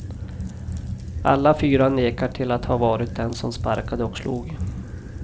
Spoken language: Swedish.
Alla fyra nekar till att ha varit den som sparkade och slog.